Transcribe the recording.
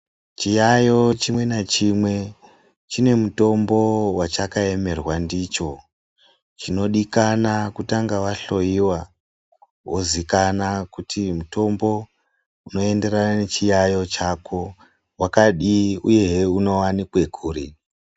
Chiyaiyo chimwe ngachimwe chine mutombo wachakaemerwa ndicho chinodikana kutanga wahloiwa wozikana kuti mutombo unoenderana nechiyayo chako wakadii uyehe unowanikwe kuri.